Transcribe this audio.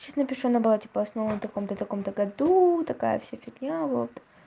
сейчас напишу она была типа основана в таком-то таком-то году такая вся фигня вот